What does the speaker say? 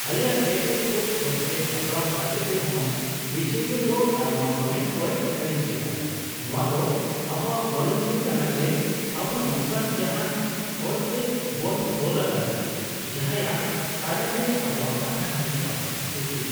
ᱟᱞᱮᱭᱟᱜ ᱛᱮᱛᱮᱫ ᱠᱚ ᱥᱚᱛ ᱛᱮ ᱥᱟᱯᱲᱟᱣ ᱠᱟᱛᱮᱫ ᱨᱮᱦᱚᱸ, ᱵᱤᱪᱟᱹᱨᱤᱭᱟᱹ ᱫᱚ ᱟᱭᱢᱟ ᱯᱚᱭᱮᱱᱴ ᱠᱚᱭ ᱠᱷᱟᱨᱤᱡ ᱠᱮᱫᱟ ᱾ ᱱᱚᱣᱟ ᱫᱚ ᱟᱵᱚᱭᱟᱜ ᱱᱚᱞᱚᱝ ᱜᱮ ᱠᱟᱱᱟ ᱡᱮ ᱟᱵᱚ ᱱᱚᱝᱠᱟᱱ ᱡᱟᱦᱟᱱ ᱦᱚᱲᱴᱮ ᱵᱚᱱ ᱛᱚᱞ ᱟᱠᱟᱱᱟ ᱡᱟᱦᱟᱸᱭᱟᱜ ᱛᱟᱨᱮᱱ ᱨᱮ ᱟᱵᱚᱣᱟᱜ ᱠᱟᱛᱷᱟ ᱦᱤᱡᱩᱜᱼᱟ ᱾ (ᱩᱠᱤᱞ)